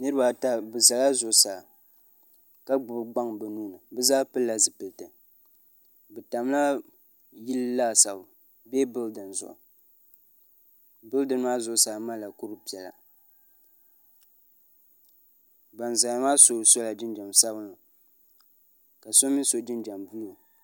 niraba ata bi ʒɛla zuɣusaa ka gbubi gbaŋ bi nuuni bi zaa pilila zipiliti bi tamla yili laasabu bee bildin zuɣu bildin maa zuɣusaa malila kuri piɛla ban ʒɛya maa so sola jinjɛm sabinli ka so mii so jinjɛm buluu